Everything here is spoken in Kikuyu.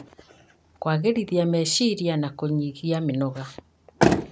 Kũagĩrithia meciria na kũnyihia mĩnoga.